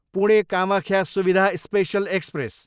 Pune, Kamakhya Suvidha special express